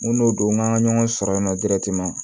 Mun n'o don n'an ka ɲɔgɔn sɔrɔ yen nɔ